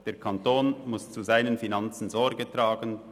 Der Kanton muss zu seinen Finanzen Sorge tragen;